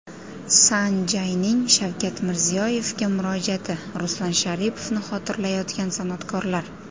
San Jay’ning Shavkat Mirziyoyevga murojaati, Ruslan Sharipovni xotirlayotgan san’atkorlar.